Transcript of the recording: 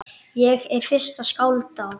Ég er fyrsta skáld á